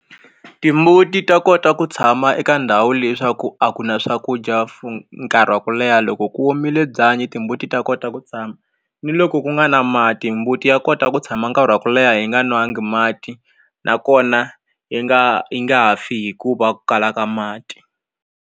Timbuti ta kota ku tshama eka ndhawu leswaku a ku na swakudya for nkarhi wa ku leha loko ku omile byanyi timbuti ta kota ku tshama ni loko ku nga na mati mbuti ya kota ku tshama nkarhi wa ku leha yi nga nwangi mati nakona yi nga yi nga fi hikuva ku kala ka mati.